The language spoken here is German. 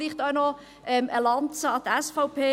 Vielleicht noch eine Lanze für die SVP: